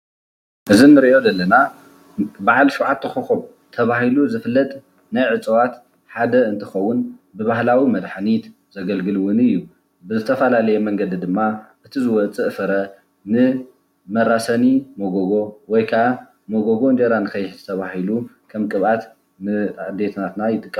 እዚ ንሪኦ ዘለና በዓል ሽዉዓተ ኾኮብ ተባሂሉ ዝፍለጥ ናይ እፅዋት ሓደ እንትከዉን ብባህላዊ መድሓኒት ዘግልግል እዉን እዩ። ብዝተፈላለየ መንገዲ ድማ እቲ ዝወፅእ ፍረ ንመራሰኒ መጎጎ ወይ ከዓ መጎጎ እንጀራ ንከይሕዝ ተባሂሉ ከምቅባት ንኣዴታትና ይጥቀማሉ።